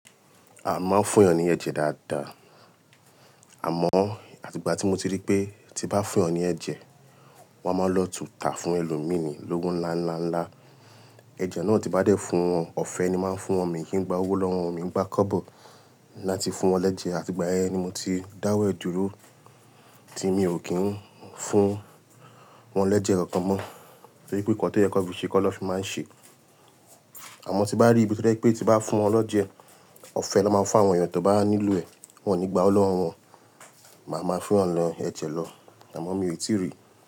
A máa ń fún ènìyàn ní ẹ̀jẹ̀ dáadáa. Àmọ́ àtíbà tí mo ti rí pé tí bá fún ènìyàn ní ẹ̀jẹ̀, wọn á máa lọ tà tún ẹlòmíràn lówó ńlá, ńlá, ńlá. Ẹ̀jẹ̀ náà tí bá dẹ́ fún ọ̀fẹ́ ni máa ń fún ọmọ èyín gba owó lọ́wọ́ ọmọ èyín gbá kọ́bọ̀ láti fún wọn l'ẹ́jẹ̀. Àtíbà ẹ ni mo ti dáwọ́ jù ú tí mi ò kí ń fún wọn l'ẹ́jẹ̀ kankan mọ́ torí pé nǹkan tó yẹ kó fi ṣe kó lọ fi máa ń ṣe. Àmọ́ tí bá rí ibi tẹ́lẹ̀ pé tí bá fún wọn lọ́jẹ, ọ̀fẹ́ lọ́ máa ń fún àwọn ènìyàn tó bá nílò ẹ̀ wọ́n ò ní gba owó lọ́wọ́ wọn, màá máa fún wọn lọ́ ẹ̀jẹ̀ lọ. Àmọ́ mi ò tíì rí.